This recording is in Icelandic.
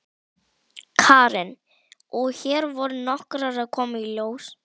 Karen: Og hér voru nokkrar að koma í ljós?